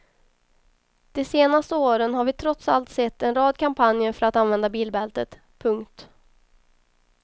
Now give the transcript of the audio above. De senaste åren har vi trots allt sett en rad kampanjer för att använda bilbältet. punkt